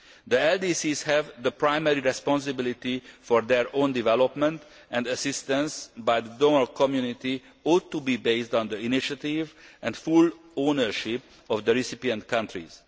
LDCs. The LDCs have primary responsibility for their own development, and assistance by the donor community ought to be based on the initiative and full ownership of the recipient countries.